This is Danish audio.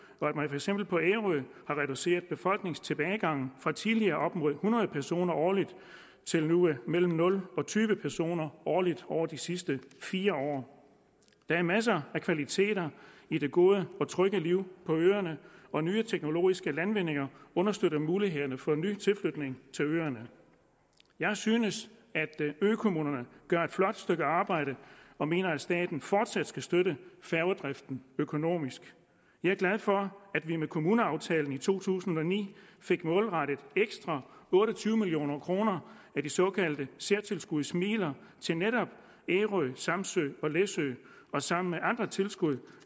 eksempel på ærø reduceret befolkningstilbagegangen fra tidligere op mod hundrede personer årligt til nu mellem nul og tyve personer årligt over de sidste fire år der er masser af kvaliteter i det gode og trygge liv på øerne og nye teknologiske landvindinger understøtter mulighederne for ny tilflytning til øerne jeg synes at økommunerne gør et flot stykke arbejde og mener at staten fortsat skal støtte færgedriften økonomisk jeg er glad for at vi med kommuneaftalen i to tusind og ni fik målrettet ekstra otte og tyve million kroner af de såkaldte særtilskudsmidler til netop ærø samsø og læsø og sammen med andre tilskud